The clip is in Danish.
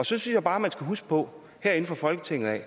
synes jeg bare man herinde fra folketinget af